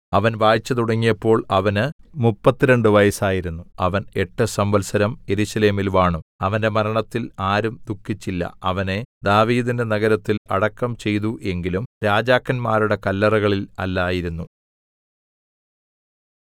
അവൻ വാഴ്ച തുടങ്ങിയപ്പോൾ അവന് മുപ്പത്തിരണ്ട് വയസ്സായിരുന്നു അവൻ എട്ട് സംവത്സരം യെരൂശലേമിൽ വാണു അവന്റെ മരണത്തിൽ ആരും ദുഖിച്ചില്ല അവനെ ദാവീദിന്റെ നഗരത്തിൽ അടക്കം ചെയ്തു എങ്കിലും രാജാക്കന്മാരുടെ കല്ലറകളിൽ അല്ലായിരുന്നു